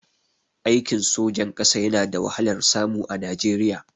Aikin sojan ƙasa yana da wahalar samu a Najeriya